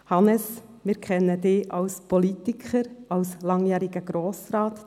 Hannes Zaugg, wir kennen Sie als Politiker, als langjährigen Grossrat.